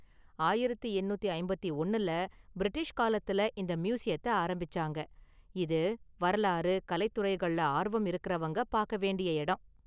ஆயிரத்து எண்ணூத்தி ஐம்பத்தி ஒன்னுல பிரிட்டிஷ் காலத்துல இந்த மியூசியத்த ஆரம்பிச்சாங்க, இது வரலாறு, கலை துறைகள்ல ஆர்வம் இருக்குறவங்க பாக்க வேண்டிய இடம்.